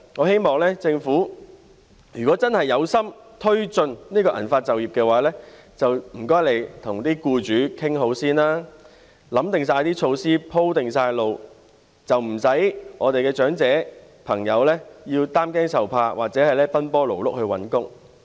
如果政府有誠意促進銀髮就業，我希望它先跟僱主協商，制訂措施、"鋪"好路，不要令我們的長者朋友擔驚受怕，或者奔波勞碌地找工作。